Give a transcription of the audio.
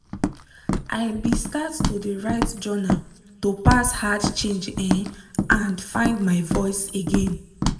i be start to de write journal to pass hard change um and find my voice again.